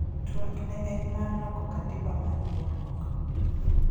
twak ne en mar loko katiba mar riwruok